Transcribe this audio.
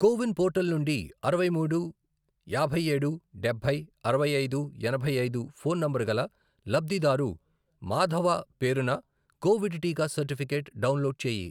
కో win portal నుండి అరవై మూడు, యాభై ఏడు, డబ్బై, అరవై ఐదు, ఎనభై ఐదు, ఫోన్ నంబరు గల లబ్ధిదారు మాధవ పేరున కోవిడ్ టీకా సర్టిఫికేట్ డౌన్లోడ్ చేయి.